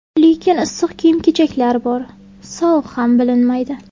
Lekin issiq kiyim-kechaklar bor, sovuq ham bilinmaydi.